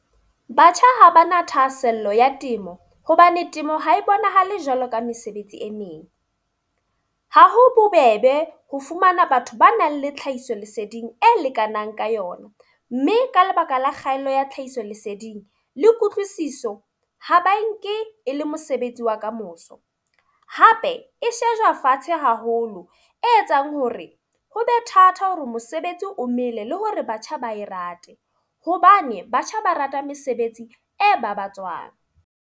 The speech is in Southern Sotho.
Batjha ha ba na thahasello ya temo. Hobane temo ha e bonahale jwalo ka mesebetsi e meng. Ha ho bobebe ho fumana batho ba nang le tlhahiso leseding e lekanang ka yona. Mme ka lebaka la kgaello ya tlhahiso leseding, le kutlwisiso. Ha ba nke e le mosebetsi wa kamoso. Hape e shejwa fatshe haholo e etsang hore hobe thata hore mosebetsi o mele, le hore batjha ba e rate. Hobane batjha ba rata mesebetsi e babatswang.